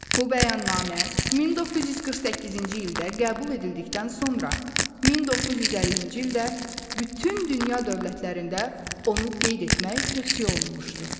Bu bəyannamə 1948-ci ildə qəbul edildikdən sonra 1950-ci ildə bütün dünya dövlətlərində onu qeyd etmək tövsiyə olunmuşdu.